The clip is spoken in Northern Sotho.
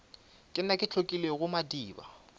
ke nna ke hlotlilego madiba